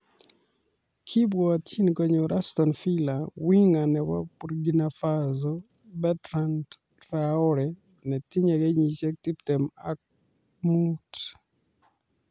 Kebwotyin konyor Aston Villa winger nebo Burkina Faso Bertrand Traore netinyei kenyisiek tiptem ak muut